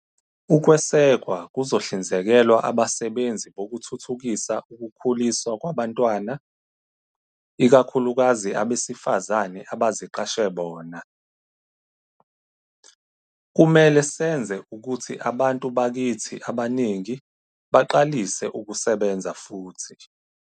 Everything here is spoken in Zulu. Ukwesekwa kuzohlinzekelwa abasebenzi Bokuthuthukisa Ukukhuliswa Kwabantwana, ikakhulukazi abesifazane abaziqashe bona. Kumele senze ukuthi abantu bakithi abaningi baqalise ukusebenza futhi.